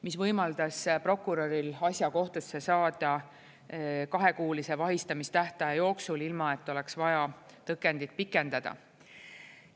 See võimaldas prokuröril asja kohtusse saada kahekuulise vahistamistähtaja jooksul, ilma et oleks vaja tõkendid pikendada.